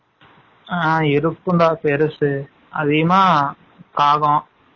ஆ இருக்கும் டா பேருசு அதிகமா காகம்